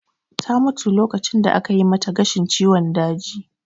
Ta mutu lokacin da ake yi mata gashin ciwon daji